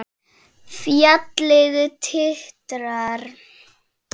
Fjallið titrar.